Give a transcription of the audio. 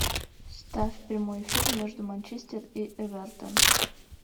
ставь прямой эфир между манчестер и эвертон